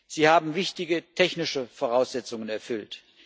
Sie haben wichtige technische Voraussetzungen erfüllt.